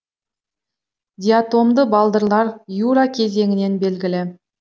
диатомды балдырлар юра кезеңінен белгілі